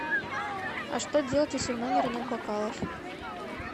а что делать если в номере нет бокалов